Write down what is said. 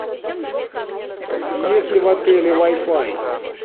есть ли в отеле вай фай